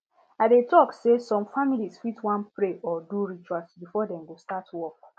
i dey talk say some families fit wan pray or do rituals before dem go start work